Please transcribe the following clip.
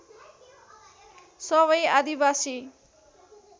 सबै आदिवासी